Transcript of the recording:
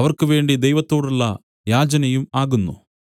അവർക്കുവേണ്ടി ദൈവത്തോടുള്ള യാചനയും ആകുന്നു